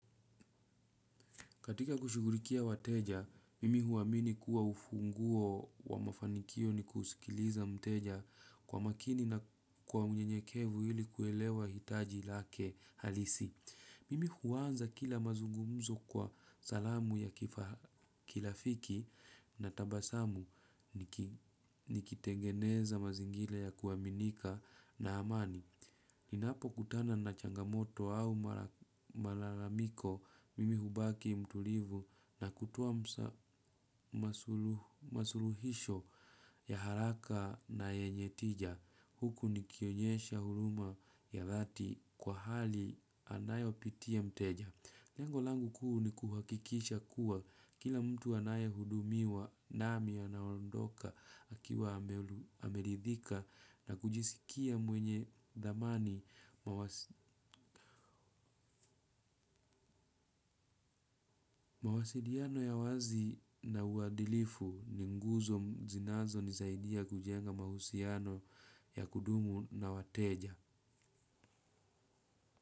Katika kushugulikia wateja, mimi huwa amini kuwa ufunguo wa mafanikio ni kusikiliza mteja kwa makini na kuwa mnyenyekevu hili kuelewa hitaji lake halisi. Mimi huwanza kila mazungumzo kwa salamu ya kirafiki na tabasamu nikitengeneza mazingira ya kuaminika na amani. Ninapo kutana na changamoto au malalamiko mimi hubaki mtulivu na kutoa msa masuluhisho ya haraka na yenye tija. Huku nikionyesha huruma ya dhati kwa hali anayo pitia mteja. Lengo langu kuu ni kuhakikisha kuwa kila mtu anae hudumiwa nami anaondoka akiwa amelidhika na kujisikia mwenye thamani mawasiliano ya wazi na uwadilifu ni nguzo zinazo ni saidia kujenga mahusiano ya kudumu na wateja.